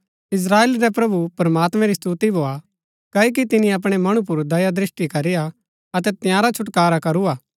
इस्त्राएल रै प्रभु प्रमात्मैं री स्‍तुती भोआ कओकि तिनी अपणै मणु पुर दया दृष्‍टि करीआ अतै तंयारा छुटकारा करू हा